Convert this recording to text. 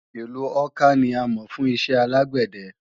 Ìlu Awka ni a mọ̀ fún iṣẹ́ alágbẹ̀dẹ